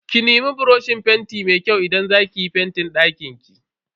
Ki nemi buroshin fenti mai kyau idan za ki yi fentin dakinki.